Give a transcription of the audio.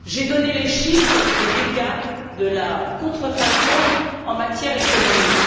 J'ai donné les chiffres des dégâts de la contrefaçon en matière économique.